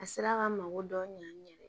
A sera k'an mago dɔ ɲ'an ɲ yɛrɛ